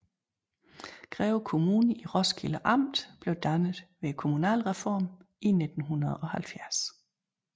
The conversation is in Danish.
Greve Kommune i Roskilde Amt blev dannet ved kommunalreformen i 1970